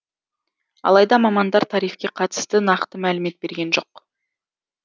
алайда мамандар тарифке қатысты нақты мәлімет берген жоқ